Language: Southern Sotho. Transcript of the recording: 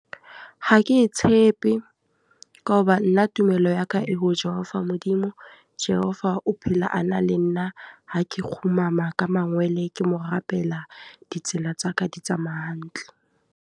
Ha ke e tshepe. Ka hoba nna tumelo ya ka e ho Jehova Modimo. Jehova o phela a na le nna, ha ke kgumama ka mangwele ke mo rapela. Ditsela tsa ka di tsamaya hantle.